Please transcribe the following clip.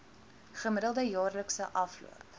gemiddelde jaarlikse afloop